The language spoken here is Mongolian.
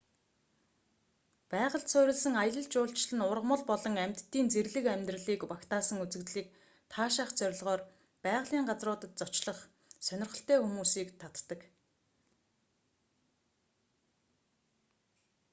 байгальд суурилсан аялал жуулчлал нь ургамал болон амьтдын зэрлэг амьдралыг багтаасан үзэгдлийг таашаах зорилгоор байгалийн газруудад зочлох сонирхолтой хүмүүсийг татдаг